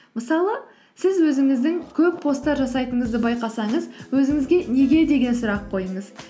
мысалы сіз өзіңіздің көп посттар жасайтыңызды байқасаңыз өзіңізге неге деген сүрақ қойыңыз